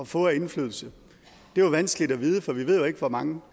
få af indflydelse er vanskeligt at vide for vi ved jo ikke hvor mange